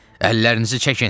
Əllərinizi çəkin!